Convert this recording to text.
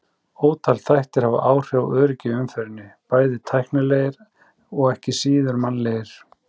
Ótal þættir hafa áhrif á öryggi í umferðinni, bæði tæknilegir og ekki síður mannlegir.